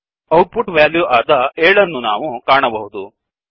out ಪುಟ್ value ಆದ 7 ಅನ್ನು ನಾವು ಕಾಣಬಹುದು